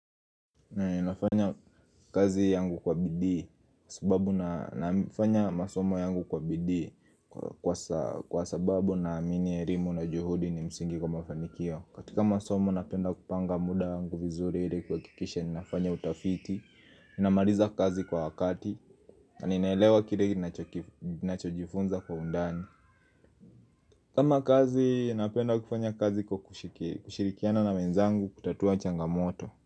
Nafanya kazi yangu kwa bidii sababunafanya masomo yangu kwa bidii kwa sababu naamini elimu na juhudi ni msingi kwa mafanikio katika masomo napenda kupanga muda yangu vizuri hili kwa kikisha ninafanya utafiti ninamaliza kazi kwa wakati na ninaelewa kile nacho jifunza kwa undani kama kazi napenda kufanya kazi kwa kushirikiana na wenzangu kutatua changamoto.